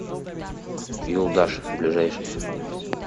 юлдаш ближайший